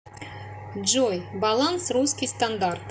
джой баланс русский стандарт